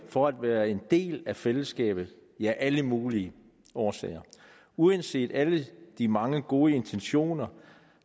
for at være en del af et fællesskab ja af alle mulige årsager uanset alle de mange gode intentioner